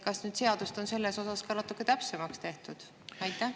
Kas seadust on selles osas natukene täpsemaks tehtud?